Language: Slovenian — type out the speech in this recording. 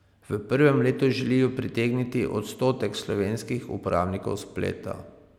V prvem letu želijo pritegniti odstotek slovenskih uporabnikov spleta.